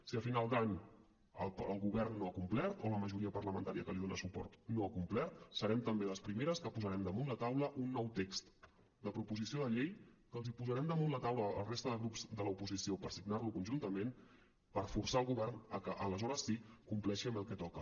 si a final d’any el govern no ha complert o la majoria parlamentària que li dona suport no ha complert serem també les primeres que posarem damunt la taula un nou text de proposició de llei que els hi posarem damunt la taula a la resta de grups de l’oposició per signar lo conjuntament per forçar el govern a que aleshores sí compleixi amb el que toca